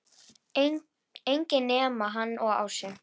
Enginn nema hann og Ása.